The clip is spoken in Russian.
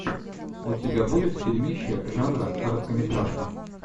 у тебя будет фильмище жанра короткометражка